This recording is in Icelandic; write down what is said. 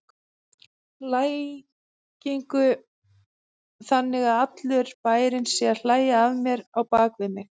lægingu, þannig að allur bærinn sé að hlæja að mér á bak við mig.